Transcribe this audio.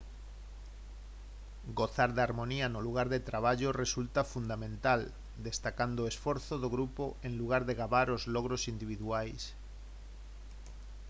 gozar de harmonía no lugar de traballo resulta fundamental destacando o esforzo do grupo en lugar de gabar os logros individuais